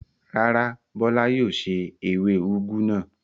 Rárá, Bọ́lá yóò se ewé úgú náà.